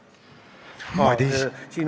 Madis ...